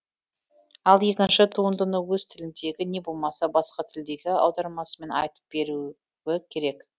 ал екінші туындыны өз тіліндегі не болмаса басқа тілдегі аудармасымен айтып беруі керек